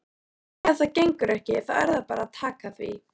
Ef það gengur ekki þá er bara að taka því.